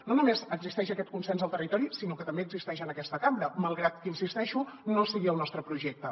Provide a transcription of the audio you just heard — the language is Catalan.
no només existeix aquest consens al territori sinó que també existeix en aquesta cambra malgrat que hi insisteixo no sigui el nostre projecte